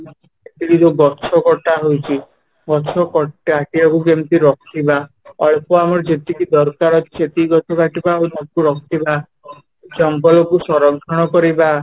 ଏଠି ଯୋଉ ଗଛ କଟା ହୋଇଛି ଗଛ କଟା ଟା କୁ କେମିତି ରଖିବା ଅଳ୍ପ ଆମର ଯେତିକି ଦରକାର ଅଛି ସେତିକି ଗଛ କାଟିବା ଆଉ ତାକୁ ରଖିବା ଜଙ୍ଗଲ କୁ ସଂରକ୍ଷଣ କରିବା